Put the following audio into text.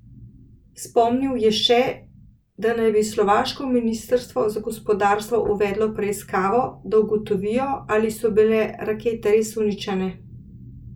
Spomnil je še, da naj bi slovaško ministrstvo za gospodarstvo uvedlo preiskavo, da ugotovijo, ali so bile rakete res uničene.